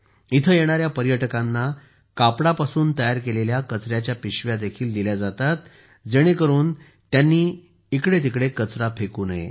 येथे येणाऱ्या पर्यटकांना कापडापासून तयार केलेल्या कचऱ्याच्या पिशव्या देखील दिल्या जातात जेणेकरून त्यांनी इकडेतिकडे कचरा फेकू नये